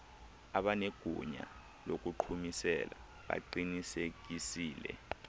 abanegunya lokuqhumisela baqinisekisile